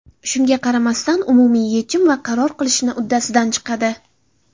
Shunga qaramasdan, umumiy yechim va qaror qilishni uddasidan chiqadi.